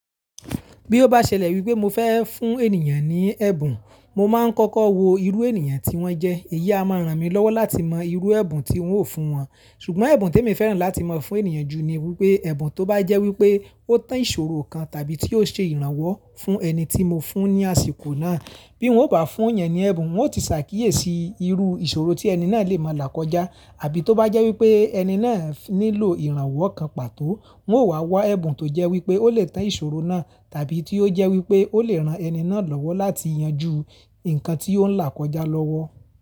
Bí ó bá ṣẹlẹ̀ wípé mo fẹ́ fún ènìyàn ní ẹ̀bùn, mo máa ń kọ́kọ́ wo irú ènìyàn tí wọ́n jẹ́, èyí a máa ràn mí lọ́wọ́ láti mọ irú ẹ̀bùn tí n óò fún wọn. Ṣùgbọ́n ẹ̀bùn tí èmi fẹ́ràn láti máa fún ènìyàn jù ni wípé, ẹ̀bùn tó bá jẹ́ wípé ó tàn ìṣòro kan tàbí tí yóò ṣe ìrànwọ́ fún ẹni tí mo fún ní àsìkò náà. Bí wọ́n ò bá fún yẹn ní ẹ̀bùn, wọ́n ó ti ṣàkíyèsí irú ìṣòro tí ẹni náà lè máa là kọjá. Àbí tó bá jẹ́ wípé ẹni náà nílò ìrànwọ́ kan pàtó, wọ́n ó wà wá ẹ̀bùn tó jẹ́ wípé ó lè tàn ìṣòro náà tàbí tí ó jẹ́ wípé ó lè ran ẹni náà lọ́wọ́ láti yanju nǹkan tí ó ń là kọjá lọ́wọ́.